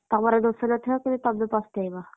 ତମର ଦୋଷ ନଥାଉ ତେବେ ତମେ ପସ୍ତେଇବ।